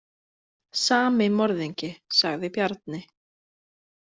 Sami morðingi, sagði Bjarni.